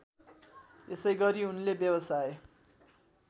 यसैगरी उनले व्यवसाय